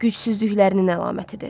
Gücsüzlüklərinin əlamətidir.